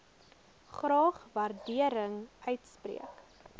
graag waardering uitspreek